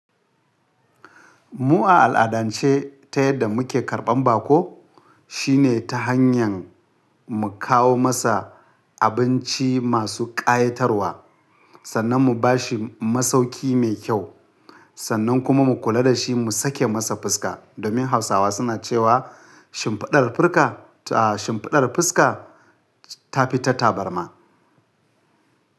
Mu a al'adance ta yadda muke karɓan bako, shine ta hanyan mu kawo masa abinci masu ƙayatarwa, sannan mu bashi masauki mai kyau, sannan kuma mu kula da shi mu sake masa fuska. Domin Hausawa suna cewa shimfiɗar fuska ta fi ta tabarma.